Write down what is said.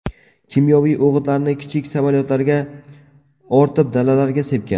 Kimyoviy o‘g‘itlarni kichik samolyotlarga ortib dalalarga sepgan.